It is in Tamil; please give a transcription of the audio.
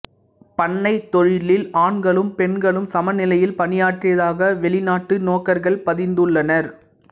பண்ணைத் தொழிலில் ஆண்களும் பெண்களும் சமநிலையில் பணியாற்றியதாக வெளிநாட்டு நோக்கர்கள் பதிந்துள்ளனர்